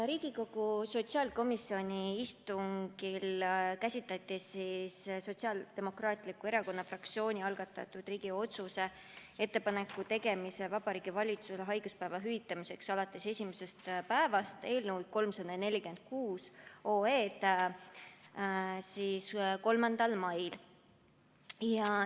Riigikogu sotsiaalkomisjoni istungil käsitleti Sotsiaaldemokraatliku Erakonna fraktsiooni algatatud Riigikogu otsuse "Ettepaneku tegemine Vabariigi Valitsusele haiguspäevade hüvitamiseks alates esimesest päevast" eelnõu 346 tänavu 3. mail.